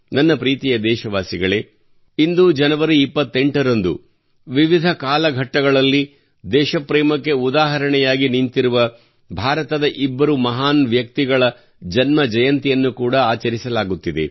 ನನ್ನ ಪ್ರೀತಿಯ ದೇಶವಾಸಿಗಳೇ ಇಂದು ಜನವರಿ 28 ರಂದು ವಿವಿಧ ಕಾಲಘಟ್ಟಗಳಲ್ಲಿ ದೇಶಪ್ರೇಮಕ್ಕೆ ಉದಾಹರಣೆಯಾಗಿ ನಿಂತಿರುವ ಭಾರತದ ಇಬ್ಬರು ಮಹಾನ್ ವ್ಯಕ್ತಿಗಳ ಜನ್ಮಜಯಂತಿಯನ್ನು ಕೂಡಾ ಆಚರಿಸಲಾಗುತ್ತಿದೆ